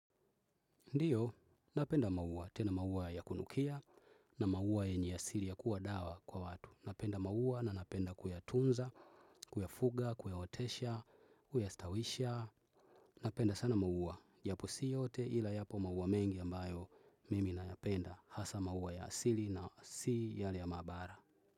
Ndio, napenda maua, tena maua ya kunukia na maua yenye asili ya kuwa dawa kwa watu. Napenda maua na napenda kuyatunza, kuyafuga, kuyaotesha, kuyastawisha. Napenda sana maua, japo si yote ila yapo maua mengi ambayo mimi nayapenda hasa maua ya asili na si yale ya maabara.